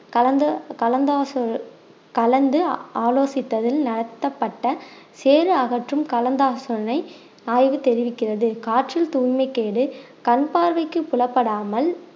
கலந்து கலந்து ஆசோ~ கலந்து ஆலோசித்ததில் நடத்தப்பட்ட சேறு அகற்றும் கலந்தாலோசனை ஆய்வு தெரிவிக்கிறது காற்றில் தூய்மை கேடு கண் பார்வைக்கு புலப்படாமல்